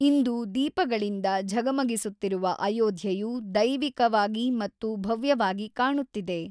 ಇಂದು ದೀಪಗಳಿಂದ ಝಗಮಗಿಸುತ್ತಿರುವ ಅಯೋಧ್ಯೆಯು ದೈವಿಕವಾಗಿ ಮತ್ತು ಭವ್ಯವಾಗಿ ಕಾಣುತ್ತಿದೆ.